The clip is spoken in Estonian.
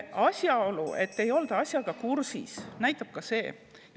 Asjaolu, et ei olda asjaga kursis, näitab ka.